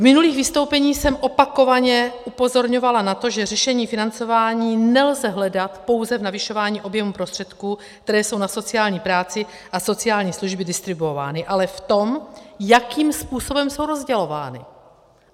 V minulých vystoupeních jsem opakovaně upozorňovala na to, že řešení financování nelze hledat pouze v navyšování objemu prostředků, které jsou na sociální práci a sociální služby distribuovány, ale v tom, jakým způsobem jsou rozdělovány.